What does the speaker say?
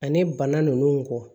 Ani bana ninnu kɔ